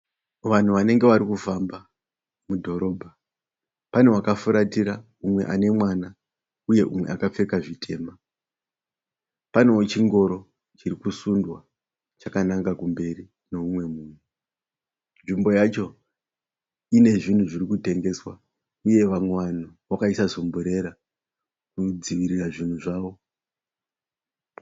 Vanhu vanenge vari kufamba mudhorobha. Pane vakafuratira umwe ane uye umwe akapfeka zvitema. Panewo chingoro chiri kusundwa chakananga kumberi neumwe munhu. Nzvimbo yacho ine zvinhu zviri kutengeswa uye vamwe vanhu vakaisa sumburera kudzivirira zvinhu zvavo.